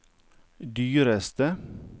dyreste